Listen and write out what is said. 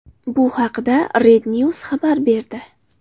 Bu haqda REDNews xabar berdi .